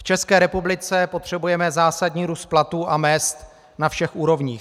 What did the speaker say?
V České republice potřebujeme zásadní růst platů a mezd na všech úrovních.